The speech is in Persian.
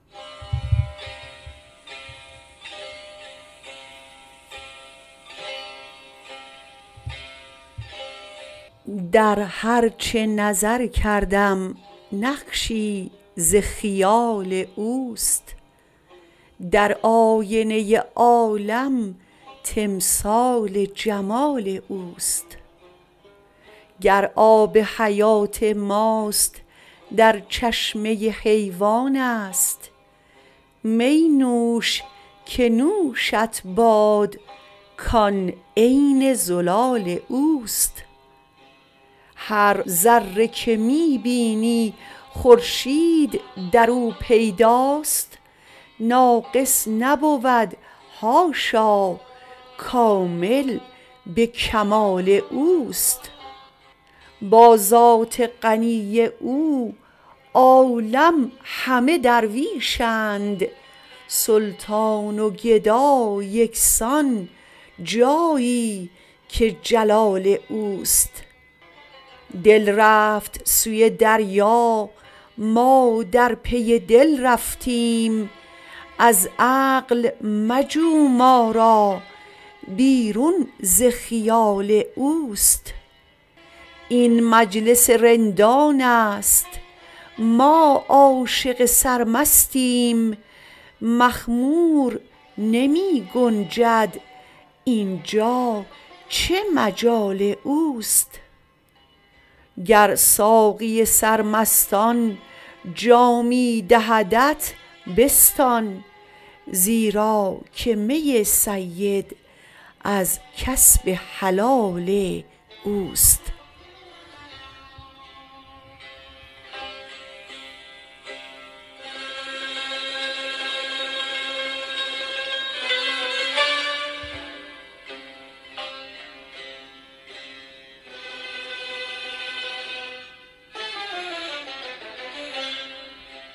در هر چه نظر کردیم نقشی ز خیال اوست در آینه عالم تمثال جمال اوست گر آب حیات ماست در چشمه حیوان است می نوش که نوشت باد کان عین زلال اوست هر ذره که می بینی خورشید در او پیداست ناقص نبود حاشا کامل به کمال اوست با ذات غنی او عالم همه درویشند سلطان و گدا یکسان جایی که جلال اوست دل رفت سوی دریا ما در پی دل رفتیم از عقل مجو ما را بیرون ز خیال اوست این مجلس رندان است ما عاشق سرمستیم مخمور نمی گنجد اینجا چه مجال اوست گر ساقی سرمستان جامی دهدت بستان زیرا که می سید از کسب حلال اوست